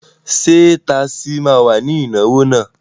Ṣé tasí ma wà ní ìnáwó náà?